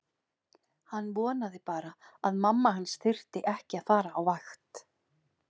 Hann vonaði bara að mamma hans þyrfti ekki að fara á vakt.